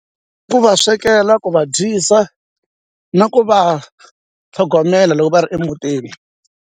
Ku va swekela ku vabyisa na ku va tlhogomela loko va ri emutini.